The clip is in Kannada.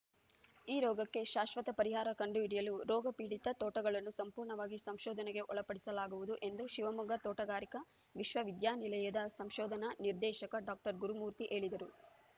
ಈ ರೋಗಕ್ಕೆ ಶಾಶ್ವತ ಪರಿಹಾರ ಕಂಡುಹಿಡಿಯಲು ರೋಗಪೀಡಿತ ತೋಟಗಳನ್ನು ಸಂಪೂರ್ಣವಾಗಿ ಸಂಶೋಧನೆಗೆ ಒಳಪಪಡಿಸಲಾಗುವುದು ಎಂದು ಶಿವಮೊಗ್ಗ ತೋಟಗಾರಿಕಾ ವಿಶ್ವವಿದ್ಯಾನಿಲಯದ ಸಂಶೋಧನಾ ನಿರ್ದೇಶಕ ಡಾಕ್ಟರ್ ಗುರುಮೂರ್ತಿ ಹೇಳಿದರು